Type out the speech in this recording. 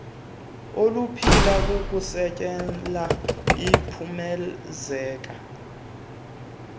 oluphila kukuzenzela iphumezeka